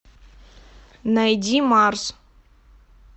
найди марс